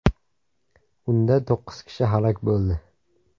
Unda to‘qqiz kishi halok bo‘ldi.